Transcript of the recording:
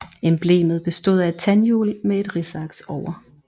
Emblemet bestod af et tandhjul med et risaks over